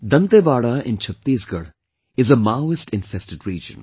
Dantewada in Chattisgarh is a Maoist infested region